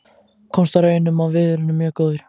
Komst að raun um að viðurinn er mjög góður.